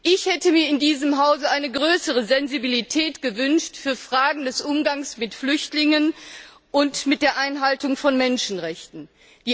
Ich hätte mir in diesem Hause eine größere Sensibilität für Fragen des Umgangs mit Flüchtlingen und mit der Einhaltung von Menschenrechten gewünscht.